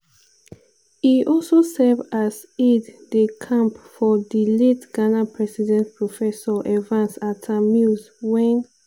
e also serve as aide-de-camp for di late ghana president professor evans atta-mills wen